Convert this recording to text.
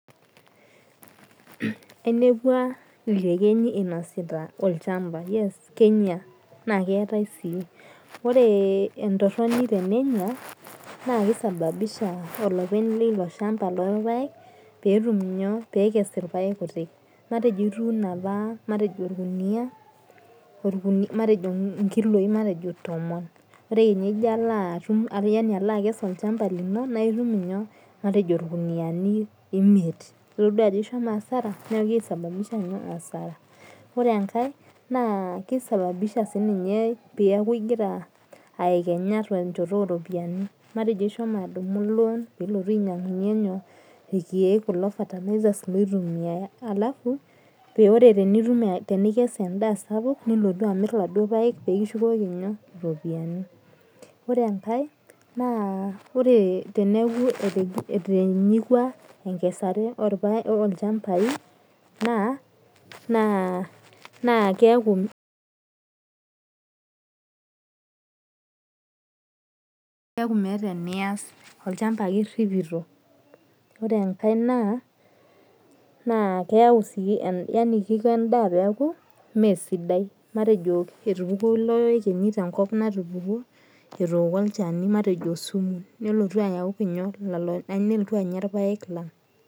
Ainepua iyekenyi inasita olchamba. Yes kenya. Na keetae si. Ore entorroni tenenya, naa kisababisha olopeny lilo shamba lorpaek, petum inyoo pekes irpaek kutik. Matejo ituuno apa matejo orkuniyia, matejo inkiloi matejo tomon. Ore kenya ijo alo atum yani ijo alo akes olchamba lino, na itum inyoo, matejo irkuniyiani imiet. Itodua ajo ishomo asara. Neeku kisababisha asara. Ore enkae, naa kisababisha sininye peku igira aekenya tenchoto oropiyiani. Matejo ishomo adumu lon pilotu ainyang'unye nyoo, irkeek kulo fertilisers loitumiai. Alafu ore tenitum tenikes endaa sapuk, nilotu amir laduo paek pikishukoki nyoo, ropiyiani. Ore enkae, naa ore teneeku etinyikua enkesare olchambai, naa keeku meeta enias. Olchamba ake irripito. Ore enkae naa, naa keu si yani kiko endaa peeku meesidai. Matejo etupukuo ilo ekenyi tenkop natupukuo, etooko olchani matejo osumu. Nilotu ayau inyo, nelotu anya irpaek lang.